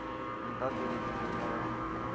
o ntateletše le ka ga